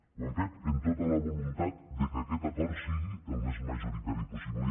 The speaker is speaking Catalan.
ho hem fet amb tota la voluntat que aquest acord sigui el més majoritari possible